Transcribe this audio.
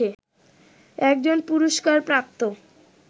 একজন পুরস্কারপ্রাপ্ত